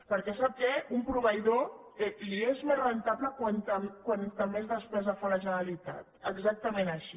perquè sap què a un proveïdor li és més rendible com més despesa fa la generalitat exactament així